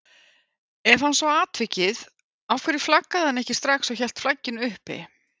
Ef hann sá atvikið af hverju flaggaði hann ekki strax og hélt flagginu uppi?